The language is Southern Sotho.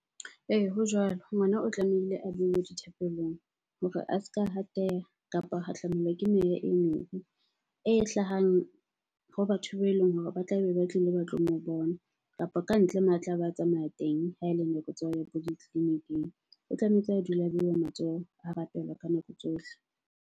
Ee, ho jwalo. Ngwana o tlamehile a bue dithapelong hore a ska hateha kapa hahlamelwa ke meya e mebe e hlahang ho batho beleng hore ba tlabe ba tlile ba tlo mo bona, kapa kantle tlabe a tsamaya teng ha ele nako tsa ho ya bo ditleliniking. O tlametse a dula beuwa matsoho, a rapelwa ka nako tsohle.